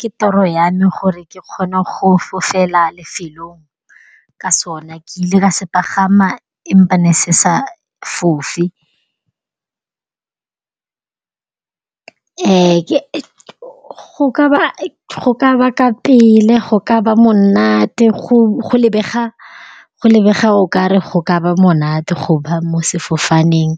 Ke toro yame gore ke kgone go fofela lefelong ka sona. Ke ile ka se pagama empa me se sa fofe. go kaba ka pele go ka ba monate go lebega okare go ka ba monate go ba mo sefofaneng